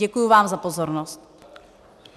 Děkuji vám za pozornost.